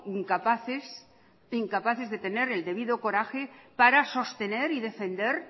incapaces de tener el debido coraje para sostener y defender